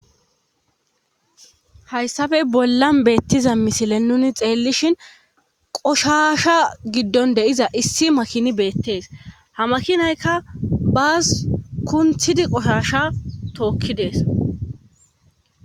hayssafe bollan beettiza misile nuni xeellishin qoshasha giddon deiza issi makini beettees ha makinaykka baas kunthidi qoshasha tookki dees